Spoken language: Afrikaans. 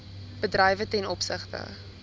bedrywe ten opsigte